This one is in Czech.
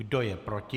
Kdo je proti?